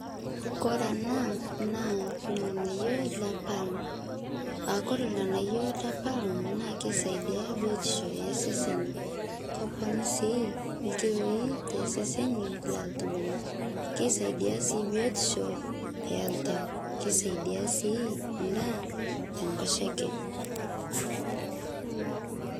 kore anaa naa lghanayo le palm aakore lghanayo le palm naa keisaidia biotisho ee seseni koponuu sii lkiloi te seseni loltungana keisaidia sii biotisho eltau keisaidia sii ndaa te nkosheke